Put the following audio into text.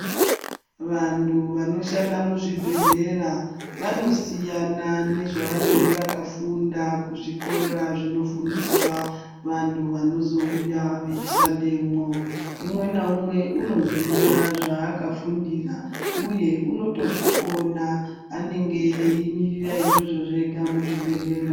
Vantu vanohanda muzvibhehlera vanoziyana nezvavanenga vakafunda kuzvikora zvinofundiswa vantu vanozouya veishandemwo unenamumwe unoziya zvakafundira uye unonge eitorikona ngekuti anenge akamirira izvozvo zvega muzvibhehlera.